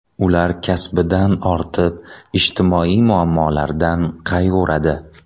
Ular kasbidan ortib, ijtimoiy muammolardan qayg‘uradi.